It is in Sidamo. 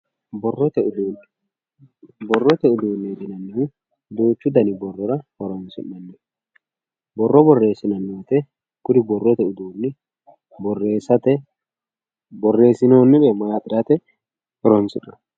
borrote uduune borrote uduuneeti yineemohu duuchu dani barrora horonsi'naniho borro borreesinanni woyiite kuri borrote uduuni borreeesate borreesinoonnire maaxirate horonsi'nanni